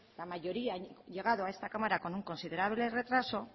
la mayoría han llegado a esta cámara con un considerable retraso